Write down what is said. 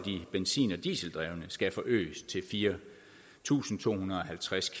benzin og dieseldrevne skal forøges til fire tusind to hundrede og halvtreds